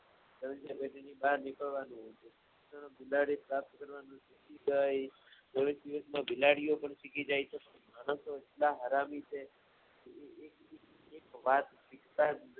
બહાર નિક્ળ્વાનું બિલાડી સાથે ચોવીશ દિવસમાં બિલાડીઓપણ શીખી જાય છે હારામી છે વાત